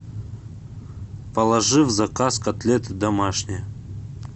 положи в заказ котлеты домашние